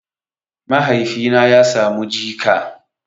Mahaifina ya samu jika